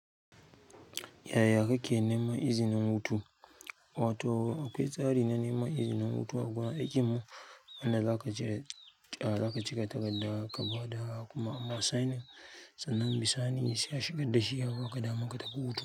Yaya kake neman izinin hutu? Wato akwai tsari na neman izinin hutu a gurin aikin mu, wanda za ka cika takarda ka ba da kuma ama sainin sannan bisani sai a shigar da shi a baka damar ka tafi hutu.